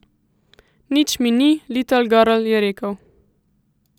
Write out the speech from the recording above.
Nič mi ni, litlgrl, je rekel.